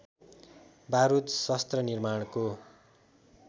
बारुद शस्त्र निमार्णको